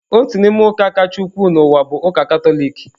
Otu n'ime ụka kacha ukwuu n'ụwa bụ ụka Katọlik.